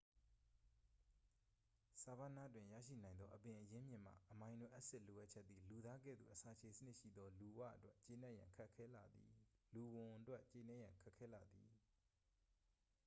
ဆာဗာနာတွင် ရရှိနိုင်သော အပင်အရင်းမြစ်မှ အမိုင်နိုအက်စစ်လိုအပ်ချက်သည် လူသားကဲ့သို့အစာချေစနစ်ရှိသော လူဝံအတွက် ကျေနပ်ရန် ခက်ခဲလှသည်